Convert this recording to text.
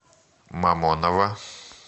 мамоново